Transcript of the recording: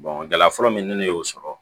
gɛlɛya fɔlɔ min ni ne y'o sɔrɔ